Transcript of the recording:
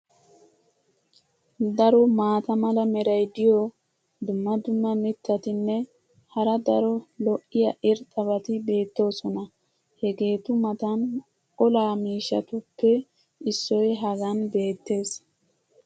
Daro maata mala meray diyo dumma dumma mitatinne hara daro lo'iya irxxabati beetoosona. hegeetu matan olaa miishshatuppe issoy hagan beetees.